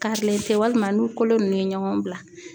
Karilen tɛ walima n'u kolo nunnu ye ɲɔgɔn bila.